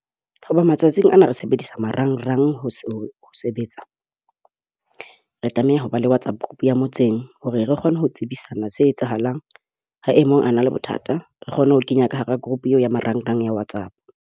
Hoba matsatsing ana re sebedisa marangrang ho sebetsa. Re tlameha ho ba le WhatsApp group ya motseng hore re kgone ho tsebisana se etsahalang. Ha e mong a na le bothata, re kgone ho kenya ka hara group eo ya marangrang a WhatsApp.